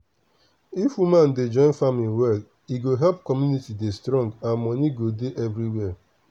if woman dey join farming well e go help community dey strong and money go dey everywhere.